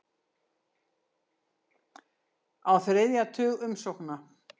Á þriðja tug umsókna